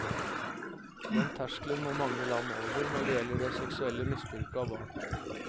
Den terskelen må mange land over, når det gjelder det seksuelle misbruket av barn.